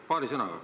Paari sõnaga.